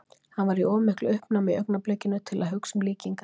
Hann var í of miklu uppnámi í augnablikinu til að hugsa um líkingar.